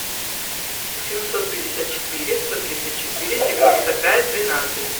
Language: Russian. семьсот пятьдесят четыре сто тридцать четыре девяносто пять двенадцать